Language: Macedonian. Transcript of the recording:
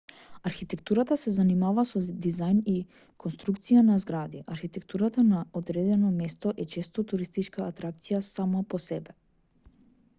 архитектурата се занимава со дизајн и конструкција на згради архитектурата на одредено место е често туристичка атракција сама по себе